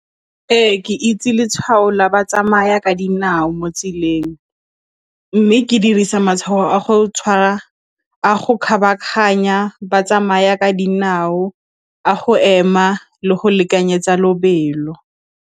Ee, ke itse letshwao la batsamaya ka dinao mo tseleng mme ke dirisa matshwao a go kgabaganya batsamaya ka dinao, a go ema le go lekanyetsa lobelo.